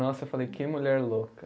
Nossa, eu falei, que mulher louca.